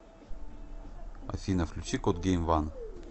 афина включи кот гейм ван